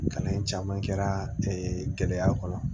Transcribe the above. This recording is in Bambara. Kalan in caman kɛra gɛlɛya kɔnɔ